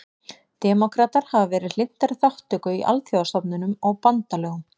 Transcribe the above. Demókratar hafa verið hlynntari þátttöku í alþjóðastofnunum og bandalögum.